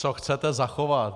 Co chcete zachovat?